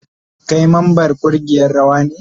Kai memban kungiyar rawa ne?